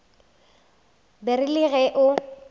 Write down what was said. ba re le ge o